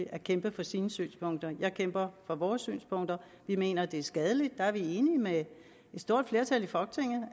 at kæmpe for sine synspunkter jeg kæmper for vores synspunkter vi mener det er skadeligt der er vi enige med et stort flertal i folketinget